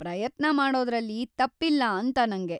ಪ್ರಯತ್ನ ಮಾಡೋದ್ರಲ್ಲಿ ತಪ್ಪಿಲ್ಲ ಅಂತ ನಂಗೆ.